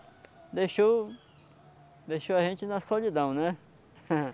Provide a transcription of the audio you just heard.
deixou, deixou a gente na solidão né.